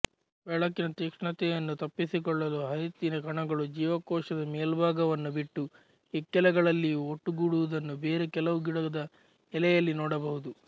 ಬೆಳಕಿನ ತೀಕ್ಷ್ಣತೆಯನ್ನು ತಪ್ಪಿಸಿಕೊಳ್ಳಲು ಹರಿತ್ತಿನ ಕಣಗಳು ಜೀವಕೋಶದ ಮೇಲ್ಭಾಗವನ್ನು ಬಿಟ್ಟು ಇಕ್ಕೆಲಗಳಲ್ಲಿಯೂ ಒಟ್ಟುಗೂಡುವುದನ್ನು ಬೇರೆ ಕೆಲವುಗಿಡದ ಎಲೆಯಲ್ಲಿ ನೋಡಬಹುದು